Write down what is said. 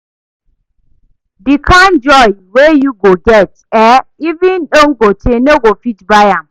Di kain joy wey yu go get eh even dangote no go fit buy am